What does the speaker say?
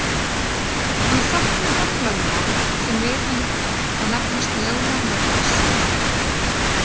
Hann setti fram lögmál sem við hann er kennt og nefnist lögmál Murphys.